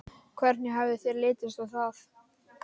Hvernig hefði þér litist á það?